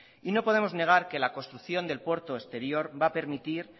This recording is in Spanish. y no podemos negar que la construcción del puerto exterior va a permitir